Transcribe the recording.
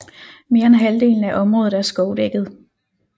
Mere end halvdelen af området er skovdækket